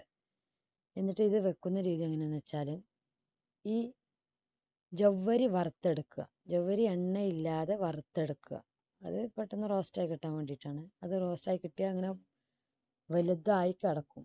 എന്നിട്ടത് വെക്കുന്ന രീതി എങ്ങനെയെന്ന് വെച്ചാല് ഈ ജൗവ്വരി വറുത്തെടുക്കുക ജൗവ്വരി എണ്ണയില്ലാതെ വറുത്തെടുക്കുക അത് പെട്ടെന്ന് roast ആയി കിട്ടാൻ വേണ്ടിയിട്ടാണ് അത് roast ായി കിട്ടിയാൽ വലുതായി കിടക്കും.